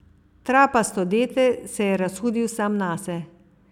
Trapasto dete, se je razhudil sam nase.